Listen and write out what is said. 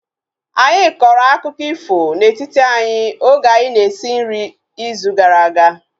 Anyị kọrọ akụkọ ifo na-etiti anyị oge anyị na-esi nri izu gara aga